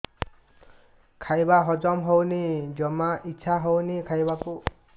ଖାଇବା ହଜମ ହଉନି ଜମା ଇଛା ହଉନି ଖାଇବାକୁ